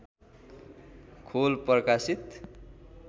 खोल प्रकाशित